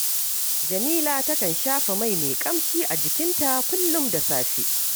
Jamila takan shafa mai mai ƙamshi a jikinta kullum da safe